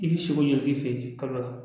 I bi sogo ɲag'i fɛ yen kalo la